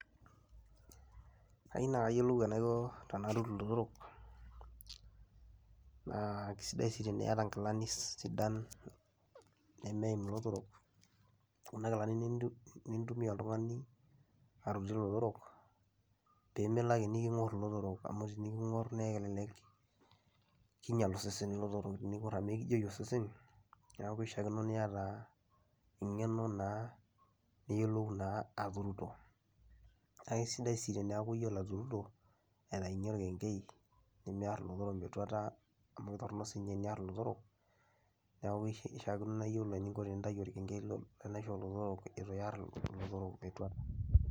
Kayieu nakayiolou tanatur ilotorok naa kesidai sii teniata nkilani sidan nemeim ilotorok, nintumia oltungani pemilo ake nikingor lotorok amu tenikingor kinyal osesen amu ekijeyu osesen nishaakinoniata engeno naa niyiolou naa atuturo, na kesidai si eniyolo atuturo aitaunye orkenkei nimiar ilotorok metuata amu toronok sii eniar ilotorok neaku ishaakino nai peiyolo enintau orkenkei lenaisho olotorok ituar lotorok metua.